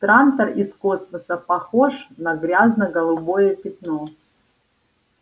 трантор из космоса похож на грязно-голубое пятно